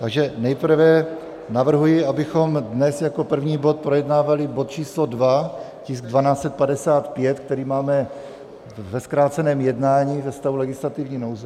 Takže nejprve navrhuji, abychom dnes jako první bod projednávali bod číslo 2, tisk 1255, který máme ve zkráceném jednání ze stavu legislativní nouze.